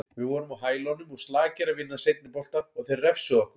Við vorum á hælunum og slakir að vinna seinni bolta og þeir refsuðu okkur.